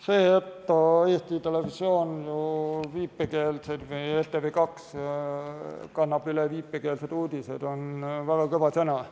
See, et ETV2 edastab viipekeelseid uudiseid, on väga kõva sõna.